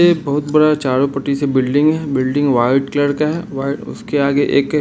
ये एक बोहोत बड़ा चारो पटी सा बिल्डिंग है बिल्डिंग वाइट कलर का है वाइ-उसके आगे एक--